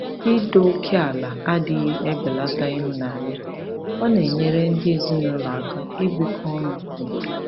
Ido oke ala adịghị ebelata ịhụnanya; ọ na-enyere ndị ezinụlọ aka ibikọ ọnụ n'udo.